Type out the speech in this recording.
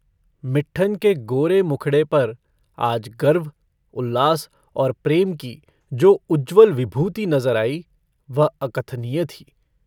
मिट्ठन के गोरे मुखड़े पर आज गर्व उल्लास और प्रेम की जो उज्ज्वल विभूति नजर आई वह अकथनीय थी।